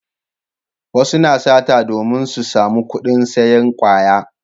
Wasu na sata domin su samu kudin sayan kwaya